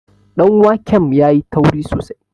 danwakem ya yi tauri sosai